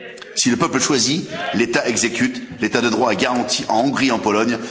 Si le peuple choisit, l'État exécute l'état de droit est garanti en Hongrie et en Pologne.